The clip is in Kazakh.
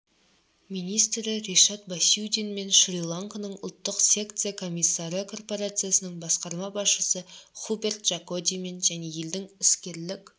министрі ришад басиудинмен шри-ланканың ұлттық секция комиссары корпорациясының басқарма басшысы хуберт джакодимен және елдің іскерлік